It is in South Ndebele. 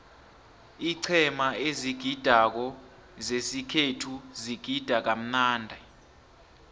iiqhema ezigidako zesikhethu zigida kamnandi